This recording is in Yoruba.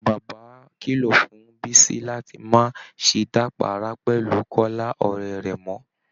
Baàbá kìlọ̀ fún bísí láti má ṣe dàpàárá pẹ̀lú kọ́lá ọ̀rẹ́ rẹ̀ mọ́